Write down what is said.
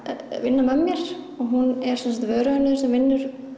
vinna með mér hún er sem sagt vöruhönnuður sem vinnur